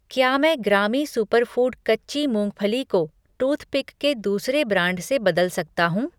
क्या मैं ग्रामी सुपरफ़ूड कच्ची मूंगफली को टूथपिक के दूसरे ब्रांड से बदल सकता हूँ?